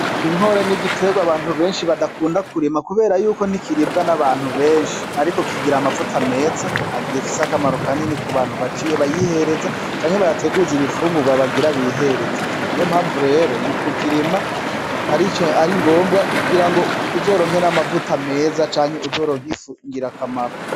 Inkore n'igiterwa abantu benshi badakunda kurima kubera yuko ntikiribwa n'abantu benshi, ariko kigira amavuta meza afise akamaro kanini ku bantu bayihereza canke bayateguza ibinfungurwa bagira bihereze, n'iyo mpamvu rero mu kukirima ari ngombwa kugira uzoronke amavuta meza canke uzoronke ifu ngir'akamaro.